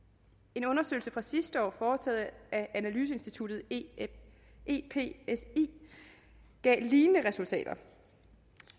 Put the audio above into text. en undersøgelse fra sidste år foretaget af analyseinstituttet epsi gav lignende resultater